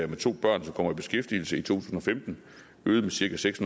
med to børn som kommer i beskæftigelse i to tusind og femten øget med cirka seks